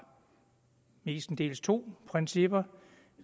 mestendels to principper